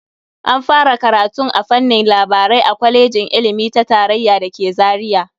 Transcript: An fara karatun a fannin labarai a kwalejin ilimi ta tarayya da ke Zaria.